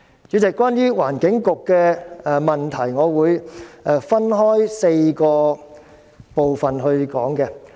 主席，關於環境局的問題，我會分開4個部分說。